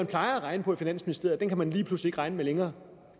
plejer at regne på i finansministeriet kan man lige pludselig ikke regne med længere